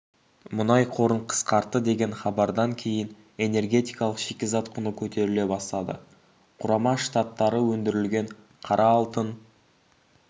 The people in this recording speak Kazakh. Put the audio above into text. мұнай қорын қысқартты деген хабардан кейін энергетикалық шикізат құны көтеріле бастады құрама штаттары өндірілген қара алтын